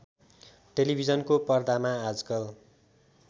टेलिभिजनको पर्दामा आजकल